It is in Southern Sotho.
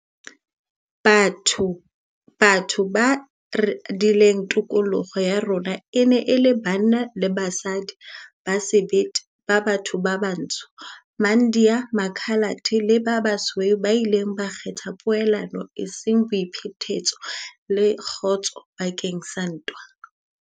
Batho ba radileng tokoloho ya rona e ne e le banna le basadi ba sebete ba batho ba batsho, maIndiya, Makhalate le ba basweu ba ileng ba kgetha poelano eseng boiphetetso, le kgotso bakeng sa ntwa.